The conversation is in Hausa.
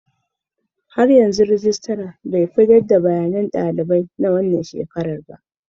Har yanzu regitra bai fitar da tarihin daliban na zaman ba.